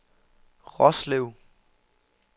Roslev